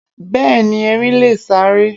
Béeni, Erin leè sáré